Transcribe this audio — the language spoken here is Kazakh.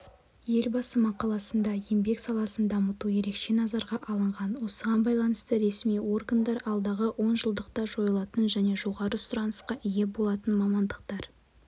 елбасы мақаласында еңбек саласын дамыту ерекше назарға алынған осыған байланысты ресми органдар алдағы онжылдықта жойылатын және жоғары сұранысқа ие болатын мамандықтар